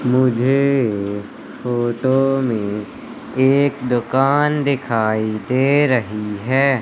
मुझे इस फोटो में एक दुकान दिखाई दे रही है।